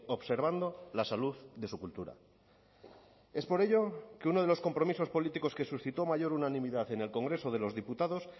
observando la salud de su cultura es por ello que uno de los compromisos políticos que suscitó mayor unanimidad en el congreso de los diputados